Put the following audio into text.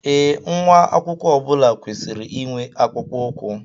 Ee, nwa akwụkwọ ọbula kwesịrị inwe akpụkpọ ụkwụ